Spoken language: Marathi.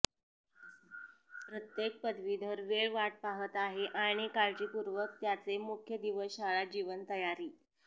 प्रत्येक पदवीधर वेळ वाट पाहत आहे आणि काळजीपूर्वक त्याचे मुख्य दिवस शाळा जीवन तयारी